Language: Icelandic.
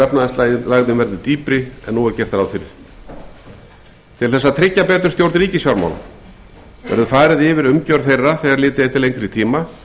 efnahagslægðin verður dýpri en nú er gert ráð fyrir til þess að tryggja betur stjórn ríkisfjármála verður farið yfir umgjörð þeirra þegar litið er til lengri tíma